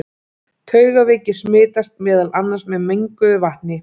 Taugaveiki smitast meðal annars með menguðu vatni.